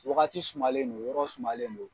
Wagati sumalen don, yɔrɔ sumalen don.